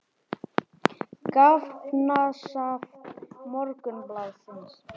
Gagnasafn Morgunblaðsins.